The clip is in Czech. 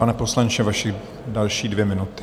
Pane poslanče, vaše další dvě minuty.